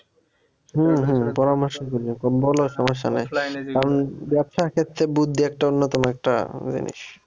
উম হম পরামর্শ বলো সমস্যা নাই এখন ব্যবসার ক্ষেত্রে বুদ্ধি একটা অন্যতম একটা জিনিস।